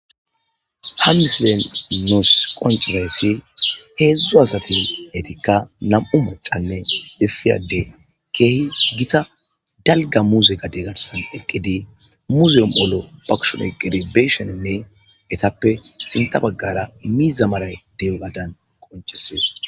Ha misileni nusi qonicizayis hezu asati etika na'mu macanee issi adey kehi gita daliga muze gade garisan eqidi muze o'omu'olo bakushe garisa oyikidi be'ishenee etape sintha bagara miza malayi de'ogadan qonicises